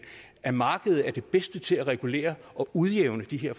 at markedet er bedst til at regulere og udjævne de her